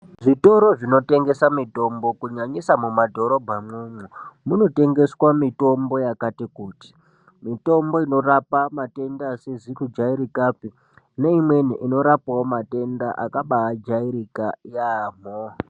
Zvitoro zvinotengesa mitombo kunyanyisa mumadhorobha imwomwo, munotengeswa mitombo yakati kuti , mitombo inorape matenda asizi kujairikapi neimweni inorapewo matenda akabaajairika yaambo .